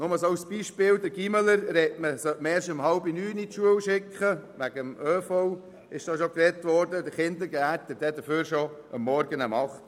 Nur ein Beispiel: Den Gymnasiasten sollte man wegen den öffentlichen Verkehrsmitteln erst um 8.30 Uhr zur Schule schicken, den Kindergärtler hingegen schon um 8.00 Uhr.